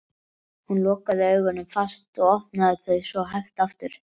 Hún lokaði augunum fast og opnaði þau svo hægt aftur.